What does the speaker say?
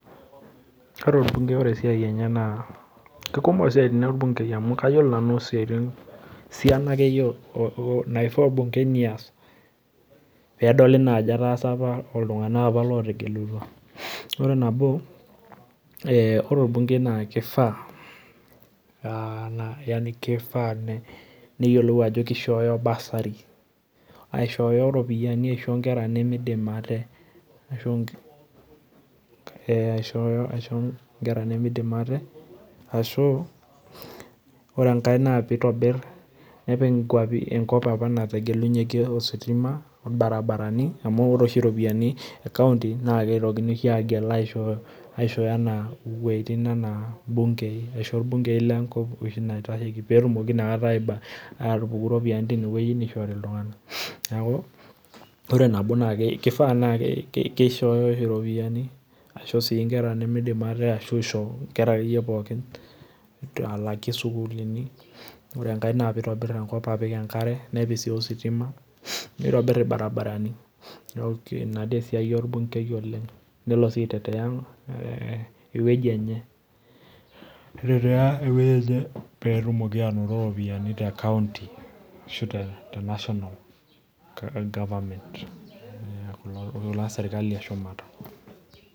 Ore orbungei ore esiai enye naa keikumok isiaitin orbungei amu kayiolo nanu esiana akeyie naifaa orbungei nias pee edoli naa ajo etaasa apa iltunganak lootegelutua .ore nabo ,ore orbungei naa kifaa neyiolou ajo keishoyo bursary aishoyo ropiyiani aisho nkera nemeidim ate, ore enkae naa pee epik nkwapi apa naategelunyeki ositima ,irbaribarani amu ore oshi ropiyiani e county naa kitokini oshi agel aishoyo wejitin anaa bunge aisho irbungei lenkop oshi naitasheki pee etumoki inakata ropioyiani atupuku tineweji neishori iltunganak .neeku ore nabo naa keifaa neeku keishoyo ropiyiani, aisho sii nkera nimidim ate ashu aisho nkera pookin alaaki sukuluni ,ore enkae naa pee eitobir enkop apik enkare nepik sii ositima nitobir irbaribarani neeku ina esiai orbungei oleng ,nelo sii aiteteya eweji enye pee etumoki aanoto ropiyiani tecounty ashu the national government lelo naa sirkali eshumata.